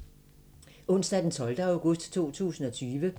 Onsdag d. 12. august 2020